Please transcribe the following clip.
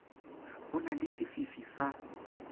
ho na le sefifi sa